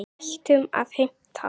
Hættum að heimta!